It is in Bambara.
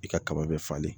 I ka kaba bɛ falen